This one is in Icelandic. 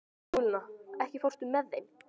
Skúlína, ekki fórstu með þeim?